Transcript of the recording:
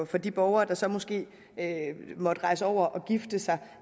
for de borgere der så måske måtte rejse over og gifte sig